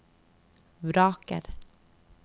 vraker